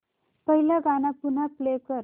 पहिलं गाणं पुन्हा प्ले कर